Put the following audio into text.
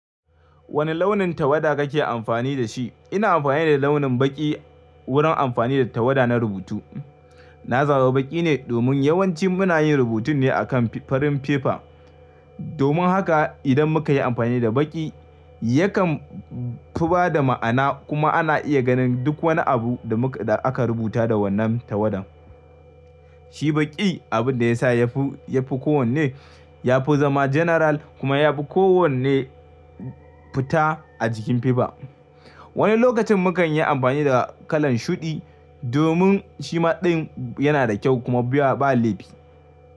Wane launin tawada kake amfani da shi? Ina amfani da launin baƙi wurin amfani da tawada na rubutu. Na zaba baƙi ne domin yawanci muna yin rubutun ne a kan farin fefa. Domin haka idan muka yi amfani da baƙi, yakan fi ba da ma'ana kuma ana iya ganin duk wani abu da aka rubuta da wannan tawadan. Shi baƙi abin da ya sa ya fi kowanne, ya fi zama general kuma ya fi kowanne fita a jikin fefa. Wani lokacin mukan yi amfani da kalan shuɗi domin shi ma ɗin yana da kyau kuma ba leɓi.